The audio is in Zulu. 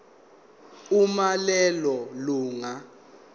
uma lelo lunga